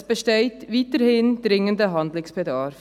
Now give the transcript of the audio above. Es besteht weiterhin dringender Handlungsbedarf.